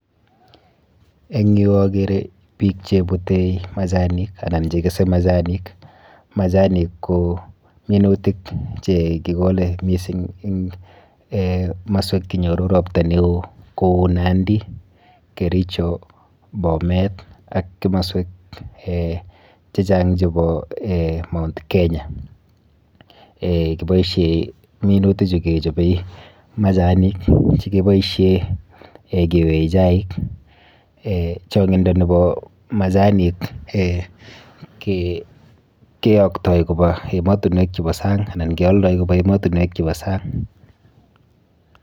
Eng yu akere piik chebute machanik anan che kese machanik, machanik ko minutik che kikole mising eng moswek chenyoru ropta neo kou Nandi, Kericho, Bomet ak kimoswek chechang chebo Mount Kenya, kiboisie minuti chu kechobe machanik che kiboisie keyoe chaik, changindo nebo machanik keyoktoi koba emotinwek chebo sang anan keoldoi koba ematinwek chebo sang.